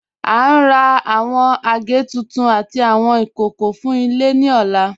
À ń rà awọn agẹ̀ tuntun àtì awọn ikókó fún ilẹ̀ ni ọ̀là.